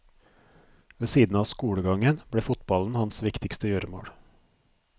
Ved siden av skolegangen ble fotballen hans viktigste gjøremål.